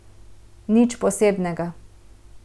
Nič posebnega.